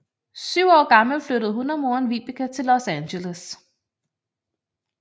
Syv år gammel flyttede hun og moren Vibeke til Los Angeles